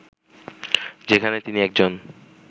যেখানে তিনি একজন